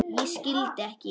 Ég skildi ekki.